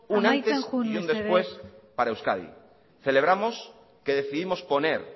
un antes y un después para euskadi amaitzen joan mesedez celebramos que decidimos poner